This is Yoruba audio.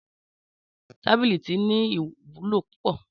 Tábìlì tí ní ìwúlò púpọ̀